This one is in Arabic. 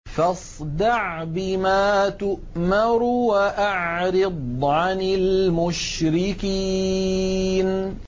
فَاصْدَعْ بِمَا تُؤْمَرُ وَأَعْرِضْ عَنِ الْمُشْرِكِينَ